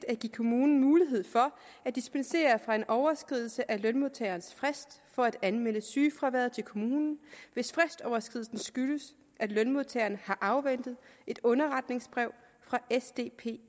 at give kommunen mulighed for at dispensere fra en overskridelse af lønmodtagerens frist for at anmelde sygefravær til kommunen hvis fristoverskridelsen skyldes at lønmodtageren har afventet et underretningsbrev fra sdpi